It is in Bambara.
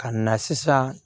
Ka na sisan